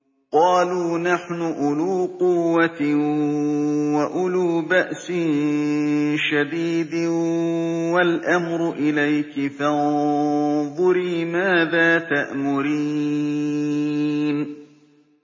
قَالُوا نَحْنُ أُولُو قُوَّةٍ وَأُولُو بَأْسٍ شَدِيدٍ وَالْأَمْرُ إِلَيْكِ فَانظُرِي مَاذَا تَأْمُرِينَ